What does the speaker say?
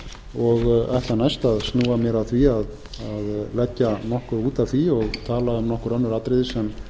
og ætla næst að snúa mér að því að leggja nokkuð út af því og tala um nokkur önnur atriði sem